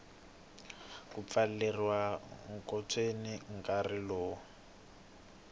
ku pfaleriwa ekhotsweni nkarhi lowu